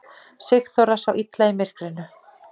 Sigþóra sá illa í myrkrinu.